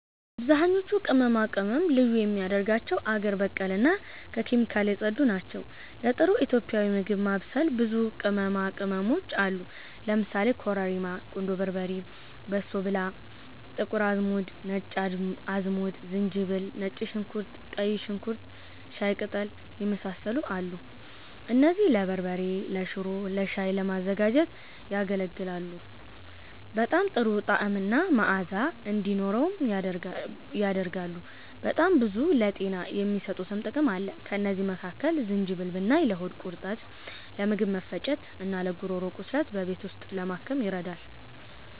አብዛኞቹ ቅመማ ቅመም ልዩ የሚያደርጋቸው አገር በቀል እና ከኬሚካል የጸዱ ናቸው። ለጥሩ ኢትዮጵያዊ ምግብ ማብሰል ብዙ ቅመማ ቅመሞች አሉ ለምሳሌ፦ ኮረሪማ፣ ቁንዶ በርበሬ፣ በሶ ብላ፣ ጥቁር አዝሙድ፣ ነጭ አዝሙድ፣ ዝንጅብል፣ ነጭ ሽንኩርት፣ ቀይ ሽንኩርት፣ ሻይ ቀጠል፣ የመሳሰሉት አሉ። እነዚህም ለበርበሬ፤ ለሽሮ፣ ለሻይ ለማዘጋጀት ያገለግላል። በጣም ጥሩ ጣዕምና መአዛ እንዲኖርው ያደርገዋል። በጣም ብዙ ለጤና የሚሰጡትም ጥቅም አለ። ከእነዚህ መካከል ዝንጅብል ብናይ ለሆድ ቁርጠት፤ ለምግብ መፈጨት፣ እና ለጉሮሮ ቁስለት በቤት ውስጥ ለማከም ይረዳል